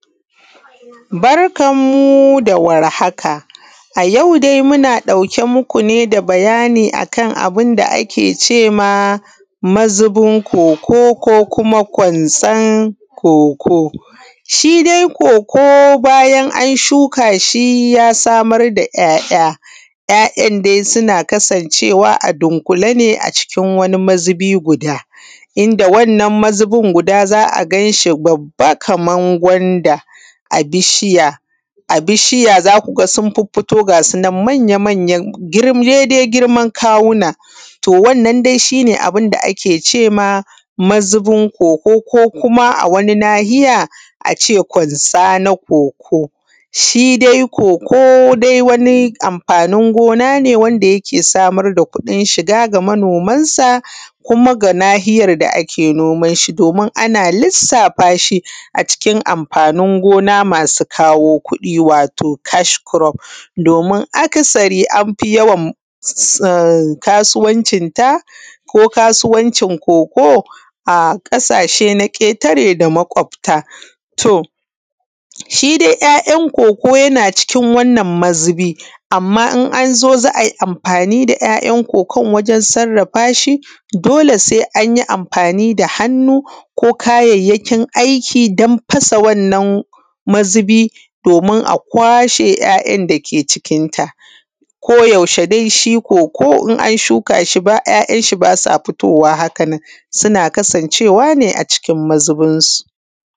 Barkan mu da warhaka. A yau dai muna ɗauke muku da bayani ne akan abunda ake cewa mazubin koko, ko kuma kwanson koko. shidai kokobayan anu shuka shi ya samar da ‘ya’ ‘ya’. ‘ya’ ‘yan’ dai suna kasan cewa a dunƙule ne a cikin mazubi guda, inda wannan mazubin guda za’a ganshi Kaman gwanda a bishiya zakuga sun fito gasunan manya manya dai dai girman kawuna, to wannnan dai shine ake cema mazubin koko ko kuma a wani nahiya ace kwanza na koko. Shidai koko dai wani amfanin gona ne wanda ayke samar da kuɗin shiga ga manoman sa kuma ga nahiyar da ake nomanshi domin ana lissafa shi a cikin amfanin gona masu kawo kuɗi wato kaskurof. Domin akasari anfi yawan kasuwancin ta ko kasuwancin koko a ƙasashe na ƙetare da makwabta. To shi dai ‘ya’ ‘yan’ koko yana cikin wannan mazubi amma in anzo za’ai amfani da ‘ya’ ‘yan’ koko wajen sarrafashi dole sai anyi amfani da hannu ko kayayyakin aiki dan fasa wannan mazubi domin a kwashe ‘ya’ ‘yan’ dake cikin ta ko yaushe dais hi koko in an shuka shi ‘ya’ ‘yan’ shi basa fitowa hakanan suna kasan cewa nea cikin mazubin su.